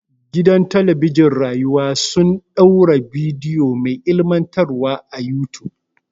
Gidan talabijin ɗin rayuwa sun ɗaura bidiyo mai ilimantarwa a yutub.